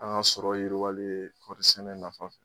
An ŋa sɔrɔ yiriwali ye kɔrisɛnɛ nafa